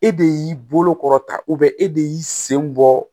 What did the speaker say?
E de y'i bolo kɔrɔ ta e de y'i sen bɔ